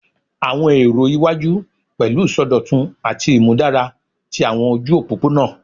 Awọn ero iwaju pẹlu isọdọtun ati imudara ti awọn oju opopona